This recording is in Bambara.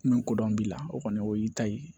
Min kodɔn b'i la o kɔni o y'i ta ye